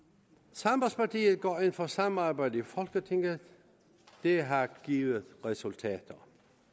sambandspartiet går ind for samarbejde i folketinget det har givet resultater